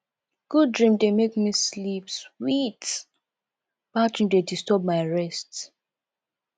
good dream dey make me sleep sweet bad dream dey disturb my rest